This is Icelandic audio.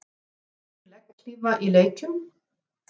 Notkun legghlífa í leikjum?